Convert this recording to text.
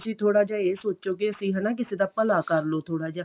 ਥੋੜਾ ਜਾ ਇਹ ਸੋਚੋ ਵੀ ਅਸੀਂ ਹਨਾ ਕਿਸੇ ਦਾ ਭਲਾ ਕਰਲੋ ਥੋੜਾ ਜਾ